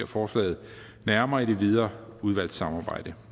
forslaget nærmere i det videre udvalgssamarbejde